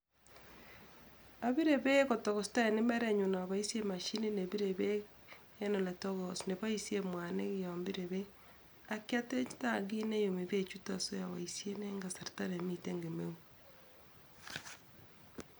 Ororun en nwogindo olebirtoi beek koit emotinwek chetokosen en mbareng'ung'.